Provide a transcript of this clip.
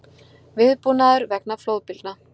Viðbúnaður vegna flóðbylgna